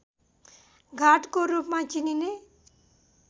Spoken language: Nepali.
गाडको रूपमा चिनिने